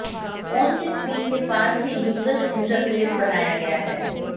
phone की screen के पास ही यूजर इंटरफेस बनाया गया है